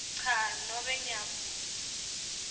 cha nobe ngiyavuma